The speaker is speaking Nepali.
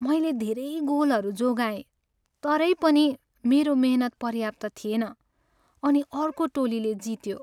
मैले धेरै गोलहरू जोगाएँ तरै पनि, मेरो मेहनत पर्याप्त थिएन अनि अर्को टोलीले जित्यो।